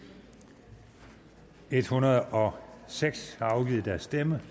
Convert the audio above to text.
et hundrede og seks har afgivet deres stemme